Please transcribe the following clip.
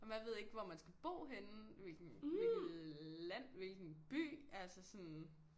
Man ved ikke hvor man skal bo henne hvilken hvilket land hvilken by altså sådan